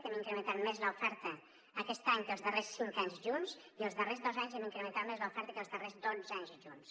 hem incrementat més l’oferta aquest any que els darrers cinc anys junts i els darrers dos anys hem incrementat més l’oferta que els darrers dotze anys junts